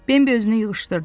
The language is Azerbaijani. Bimbi özünü yığışdırdı.